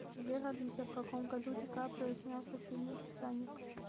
сбер алиса в каком году ди каприо снялся в фильме титаник